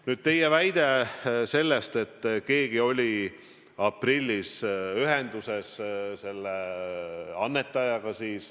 Nüüd teie väide selle kohta, et keegi oli aprillis ühenduses selle annetajaga.